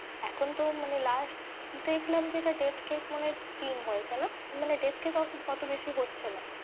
এখন তো মানে last দেখলাম যেটা death case মনে হয় তিন হয়েছে না? মানে death case অতো বেশি হচ্ছে না।